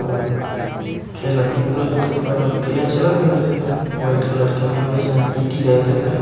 अउ खेलत कुदत होई हे ओकर बाद प्रिय चलत होइ वैसे तो वाइट कलर में व सम पी टी करते सायद।